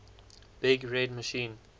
big red machine